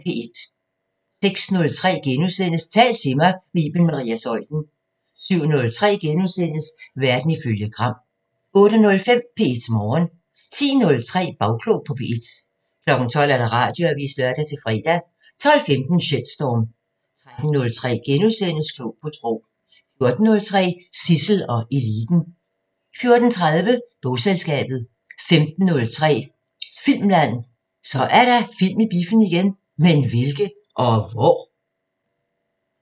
06:03: Tal til mig – med Iben Maria Zeuthen * 07:03: Verden ifølge Gram * 08:05: P1 Morgen 10:03: Bagklog på P1 12:00: Radioavisen (lør-fre) 12:15: Shitstorm 13:03: Klog på Sprog * 14:03: Zissel og Eliten 14:30: Bogselskabet 15:03: Filmland: Så er der film i biffen igen! Men hvilke? Og hvor?